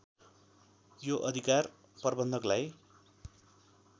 यो अधिकार प्रबन्धकलाई